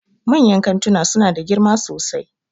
Manyan kantuna suna da girma sosai